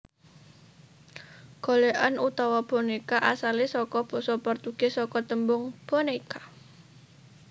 Golèkan utawa bonéka asalé saka basa Portugis saka tembung boneca